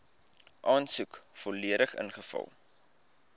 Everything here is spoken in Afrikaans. aansoek volledig ingevul